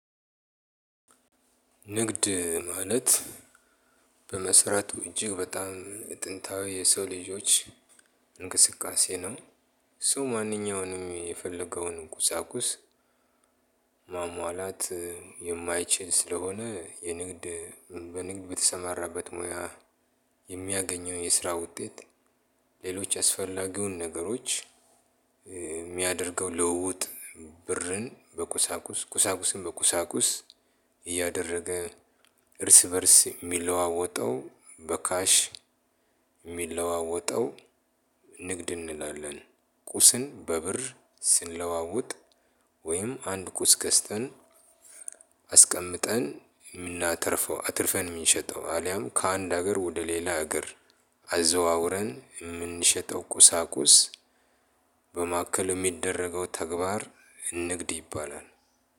ንግድ ማለት በመሰረቱ እጅግ በጣም ጥንታዊ የሰው ልጆች እንቅስቃሴ ነው። ሰው ማንኛውንም የፈለገውን ቁሳቁስ። ማሟላት የማይችል ስለሆነ የንግድ በንግድ በተሰማራበት ሙያ የሚያገኘውን የስራ ውጤት ሌሎች አስፈላጊውን ነገሮች የሚያደርገው ልውውጥ ብርን በቁሳቁስ ቁሳቁስን በቁሳቁስ እያደረገ እርስ በእርስ የሚለዋወጠው በካሽ የሚለዋወጠው ንግድ እንላለን። ቁስን በብር ስንለዋወጥ ወይም አንድ ቁስ ገዝተን አስቀምጠን የምናተርፈው አትርፈን የምንሸጠው ወይም ከአንድ ሀገር ወደ ሌላ አገር አዘዋውረን የምንሸጠው ቁሳቁስ። በማከል የሚደረገው ተግባር ንግድ ይባላል።